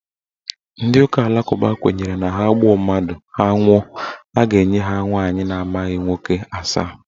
Ndị ụka alakụba kwenyere na ha gbuo mmadụ, ha nwụọ, a ga-enye ha nwaanyị na amaghị nwoke asaa.